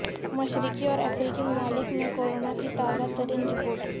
مشرقی اور افریقی ممالک میں کورونا کی تازہ ترین رپورٹ